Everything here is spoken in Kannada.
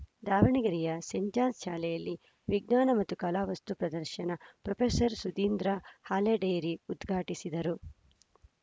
ದಾವಣಗೆರೆಯ ಸೇಂಟ್‌ ಜಾನ್ಸ್‌ ಶಾಲೆಯಲ್ಲಿ ವಿಜ್ಞಾನ ಮತ್ತು ಕಲಾ ವಸ್ತು ಪ್ರದರ್ಶನ ಪ್ರೊಫೆಸರ್ ಸುಧೀಂದ್ರ ಹಾಲೆಡೇರಿ ಉದ್ಘಾಟಿಸಿದರು